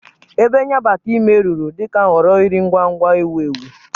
Ebe nya bata ime rụrụ dị ka nhọrọ nri ngwa ngwa ewu ewu.